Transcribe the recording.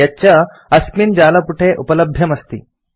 यच्च अस्मिन् जालपुटे उपलभ्यम् अस्ति